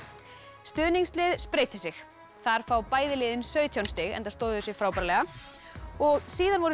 stuðningslið spreytir sig þar fá bæði liðin sautján stig enda stóðu þau sig frábærlega síðan voru